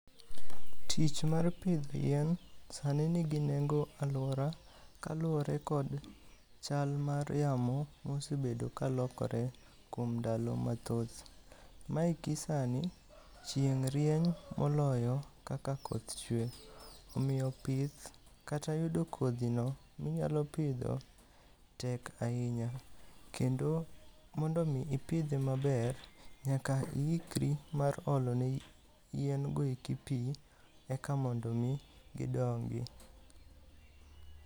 Tich mar pith yien sani nigi nengo e alwora kaluwore kod chal mar yamo mosebedo kalokore kuom ndalo mathoth. Ma eki sani, chieng' rieny moloyo kaka koth chuwe. Omiyo pith kata yudo kodhino minyalo pidho tek ahinya. Kendo, mondo omi ipidhe maber, nyaka iikri mar olo ne yien go eki pi eka mondo omi gidongi.